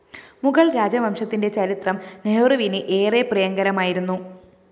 മുഗള്‍ രാജവംശത്തിന്റെ ചരിത്രം നെഹ്രുവിന്‌ ഏറെ പ്രിയംകരമായിരുന്നു